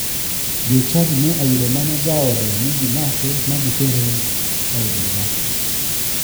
Jochadi ne oyudo mana jaode mi gimake ma gitere ka obila.